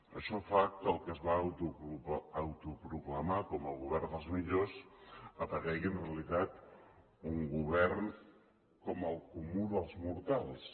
això fa que el que es va autoproclamar com el govern dels millors aparegui en realitat un govern com el comú dels mortals